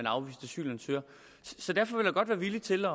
afvist asylansøger så derfor vil jeg godt være villig til at